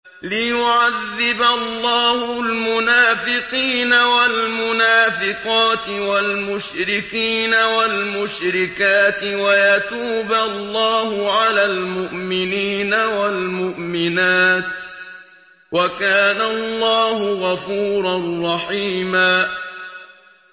لِّيُعَذِّبَ اللَّهُ الْمُنَافِقِينَ وَالْمُنَافِقَاتِ وَالْمُشْرِكِينَ وَالْمُشْرِكَاتِ وَيَتُوبَ اللَّهُ عَلَى الْمُؤْمِنِينَ وَالْمُؤْمِنَاتِ ۗ وَكَانَ اللَّهُ غَفُورًا رَّحِيمًا